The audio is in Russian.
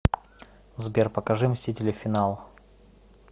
сбер покажи мстители финал